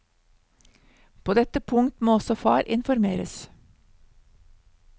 På dette punkt må også far informeres.